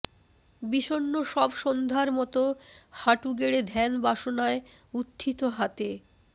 বিষন্ন সব সন্ধ্যার মতো হাঁটু গেড়ে ধ্যান বাসনায় উত্থিত হাতে